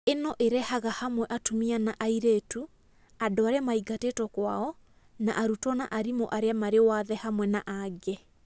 Ĩno ĩrehaga hamwe atumia na airĩtu, andũ arĩa maingatĩtwo kwao, na arutwo na arimũ arĩa marĩ wathe hamwe na angĩ.